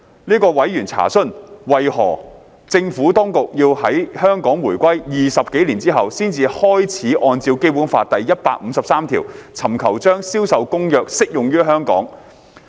這位委員查詢，為何政府當局要在香港回歸20多年後才開始按照《基本法》第一百五十三條，尋求將《銷售公約》適用於香港。